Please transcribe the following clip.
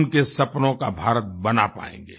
उनके सपनों का भारत बना पाएंगे